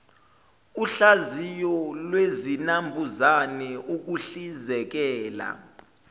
uhlaziyo lwezinambuzane ukuhlizekela